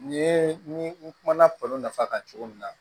Nin ye ni kumana balo nafa kan cogo min na